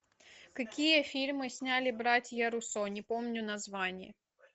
какие фильмы сняли братья руссо не помню название